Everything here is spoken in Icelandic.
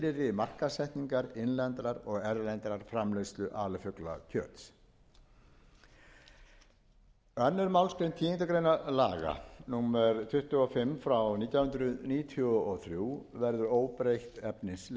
markaðssetningar innlendrar og erlendrar framleiðslu alifuglakjöts annarrar málsgreinar tíundu grein laga númer tuttugu og fimm nítján hundruð níutíu og þrjú verður óbreytt efnislega